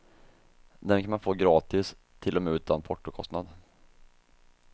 Dem kan man få gratis, till och med utan portokostnad.